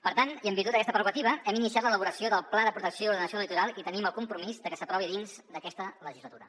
per tant i en virtut d’aquesta prerrogativa hem iniciat l’elaboració del pla de protecció i ordenació del litoral i tenim el compromís de que s’aprovi dins d’aquesta legislatura